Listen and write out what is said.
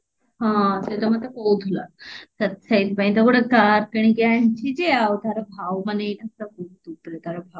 ହଁ ସେଇଟା ମତେ କହୁଥିଲା ସେଇ ସେଇଥିପାଇଁ ତ ଗୋଟେ କାର କିଣିକି ଆଣିଛି ଯେ ଆଉ ମାନେ ତାର ଭାଉ ମାନେ